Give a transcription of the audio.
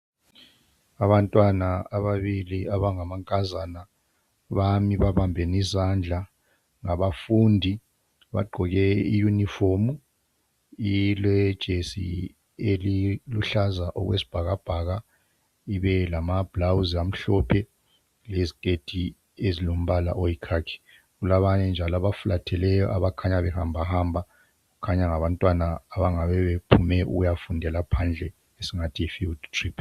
Abantwana ababili abangamankazana bami babambene izandla ngabafundi bagqoke iyuniform ilejesi eliluhlaza okwesibhakabhaka ibelama bhulawuzi amhlophe leziketi ezilombala oyikhakhi. Kulabanye njalo abafulatheleyo abakhanya behambahamba kukhanya ngabantwana abangabephume ukuyafunda phandle esingathi yi field trip.